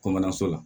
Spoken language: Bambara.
Kɔmana so la